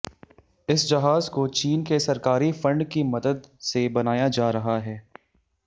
इस जहाज को चीन के सरकारी फंड की मदद से बनाया जा रहा है